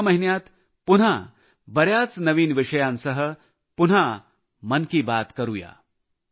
पुढच्या महिन्यात पुन्हा बऱ्याच नवीन विषयांसह पुन्हा मन की बात करूया